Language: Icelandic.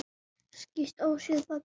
Skýst óséð bak við tunnu.